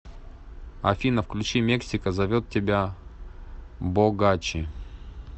афина включи мексика зовет тебя богачи